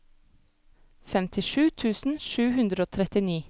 femtisju tusen sju hundre og trettini